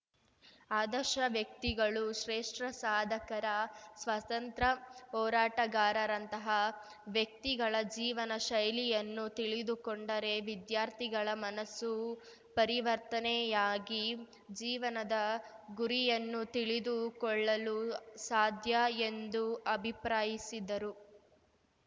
ಆದರ್ಶ ವ್ಯಕ್ತಿಗಳು ಶ್ರೇಷ್ಠ ಸಾಧಕರ ಸ್ವಾತಂತ್ರ ಹೋರಾಟಗಾರರಂತಹ ವ್ಯಕ್ತಿಗಳ ಜೀವನ ಶೈಲಿಯನ್ನು ತಿಳಿದುಕೊಂಡರೆ ವಿದ್ಯಾರ್ಥಿಗಳ ಮನಸ್ಸು ಪರಿವರ್ತನೆಯಾಗಿ ಜೀವನದ ಗುರಿಯನ್ನು ತಿಳಿದುಕೊಳ್ಳಲು ಸಾಧ್ಯ ಎಂದು ಅಭಿಪ್ರಾಯಿಸಿದರು